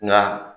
Nka